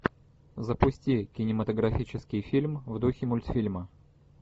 запусти кинематографический фильм в духе мультфильма